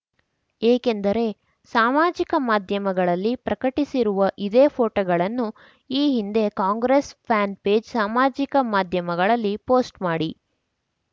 ಏಕೆಂದರೆ ಸಾಮಾಜಿಕ ಮಾಧ್ಯಮಗಳಲ್ಲಿ ಪ್ರಕಟಿಸಿರುವ ಇದೇ ಫೋಟೋಗಳನ್ನು ಈ ಹಿಂದೆ ಕಾಂಗ್ರೆಸ್‌ ಫ್ಯಾನ್‌ ಪೇಜ್‌ ಸಾಮಾಜಿಕ ಮಾಧ್ಯಮಗಳಲ್ಲಿ ಪೋಸ್ಟ್‌ ಮಾಡಿ